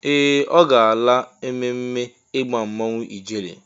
Ee! Ọ gaala ememme ịgba mmọnwụ ijele.